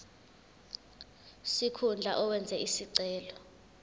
sikhundla owenze isicelo